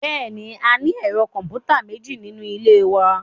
Bẹ́ẹ̀ni, a ní ẹ̀rọ kọ̀m̀pútà méjì nínú ilé wa